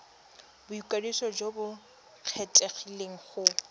boikwadiso jo bo kgethegileng go